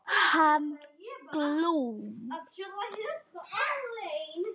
Hann Glúm.